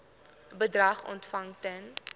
bedrag ontvang ten